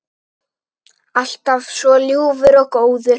Alltaf svo ljúfur og góður.